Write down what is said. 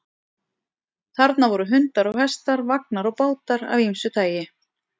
Þarna voru hundar og hestar, vagnar og bátar af ýmsu tagi.